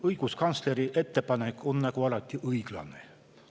Õiguskantsleri ettepanek on õiglane nagu alati.